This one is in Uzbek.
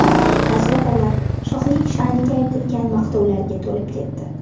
Gazetalar shohning sha’niga aytilgan maqtovlarga to‘lib ketdi.